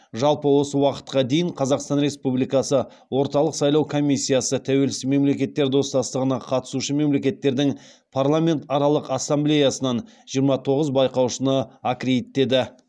жалпы осы уақытқа дейін қазақстан республикасы орталық сайлау комиссиясы тәуелсіз мемлекеттер достастығына қатысушы мемлекеттердің парламентаралық ассамблеясынан жиырма тоғыз байқаушыны аккредиттеді